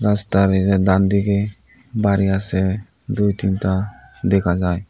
স্টারলিংয়ের ডানদিকে বাড়ি আছে দুই তিনটা দেখা যায়।